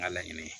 N ka laɲini ye